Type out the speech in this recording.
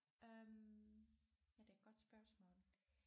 Øh ja det er et godt spørgsmål